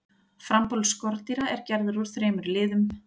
frambolur skordýra er gerður úr þremur liðum